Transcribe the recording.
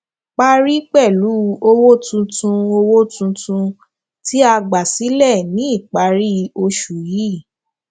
parí pẹlú owó tuntun owó tuntun tí a gbà sílẹ ní ìparí oṣù yìí